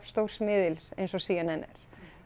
stórs miðils eins og c n n er